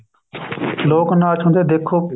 ਲੋਕ ਨਾਚ ਹੁੰਦੇ ਦੇਖੋ